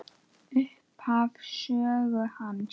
Upphaf sögu hans.